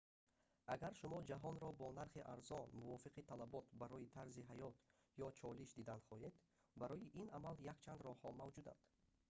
агар шумо ҷаҳонро бо нархи арзон мувофиқи талабот барои тарзи ҳаёт ё чолиш дидан хоҳед барои ин амал якчанд роҳҳо мавҷуданд